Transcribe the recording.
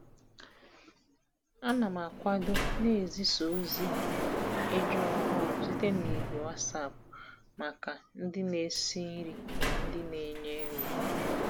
Ana m akwado na n'ezisa ozi eju ọhụụ site na ìgwè WhatsApp maka ndị na-esi nri na ndị na-enye nri.